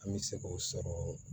An bɛ se k'o sɔrɔ